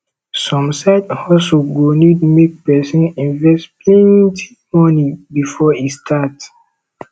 some side hustle go need make persin invest plenty money before e start